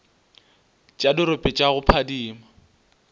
tša dirope tša go phadima